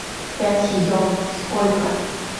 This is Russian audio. пять йен сколько